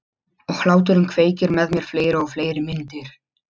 Og hláturinn kveikir með mér fleiri og fleiri myndir.